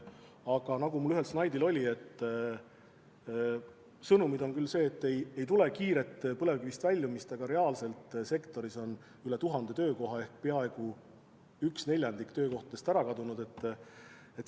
Samas, nagu mul ühel slaidil näha oli, sõnum on küll see, et ei tule kiiret põlevkivitööstusest väljumist, aga reaalselt on sektoris üle 1000 töökoha ehk peaaegu üks neljandik töökohtadest ära kadunud.